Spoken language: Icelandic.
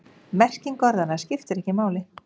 Merking orðanna skiptir ekki máli.